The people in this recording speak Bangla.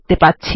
দেখতে পাব